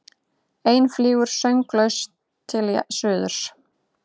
Ein flýgur sönglaus til suðurs.